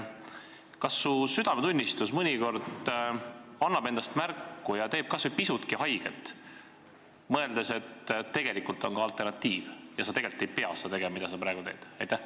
Kas su südametunnistus mõnikord annab endast märku ja teeb kas või pisutki haiget, kui sa mõtled, et tegelikult on olemas ka alternatiiv ja et sa tegelikult ei pea seda tegema, mida sa praegu teed?